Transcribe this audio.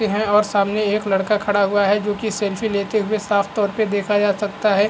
हैं और सामने एक लड़का खड़ा हुआ है जो की सेल्फी लेते हुए साफतौर पे देखा जा सकता है।